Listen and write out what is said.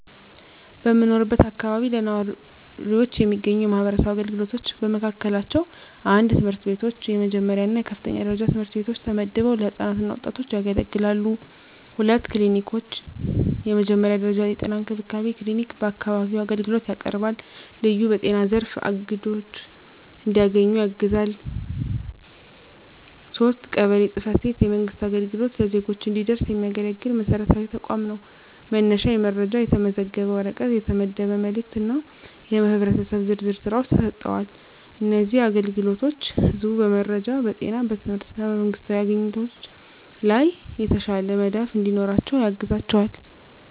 በምኖርበት አካባቢ ለነዋሪዎች የሚገኙ የማህበረሰብ አገልግሎቶች በመካከላቸው፣ 1. ትምህርት ቤቶች፣ የመጀመሪያ እና የከፍተኛ ደረጃ ትምህርት ቤቶች ተመድበው ለህፃናት እና ወጣቶች ያገለግላሉ። 2. ክሊኒኮች፣ የመጀመሪያ ደረጃ የጤና እንክብካቤ ክሊኒክ በአካባቢው አገልግሎት ያቀርባል፣ ልዩ በጤና ዘርፍ አግድዶች እንዲያገኙ ያግዛል። 3. ቀበሌ ጽ/ቤት፣ የመንግሥት አገልግሎት ለዜጎች እንዲደረስ የሚያገለግል መሰረታዊ ተቋም ነው፤ መነሻ የመረጃ፣ የተመዘገበ ወረቀት፣ የተመደበ መልእክት እና የህብረተሰብ ዝርዝር ሥራዎች ተሰጥተዋል። እነዚህ አገልግሎቶች ህዝቡ በመረጃ፣ በጤና፣ በትምህርት እና በመንግስታዊ አግኝቶች ላይ የተሻለ መዳፍ እንዲኖራቸው ያግዛቸዋል።